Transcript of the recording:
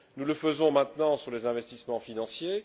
Nous le faisons maintenant sur les investissements financiers.